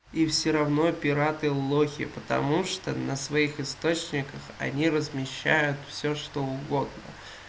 и всё равно пираты лохи потому что на своих источниках они размещают всё что угодно